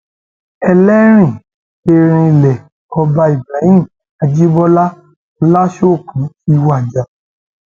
ẹlẹrìn erinlẹ ọba ibrahim ajibọlá olùṣoòkùn ti wájà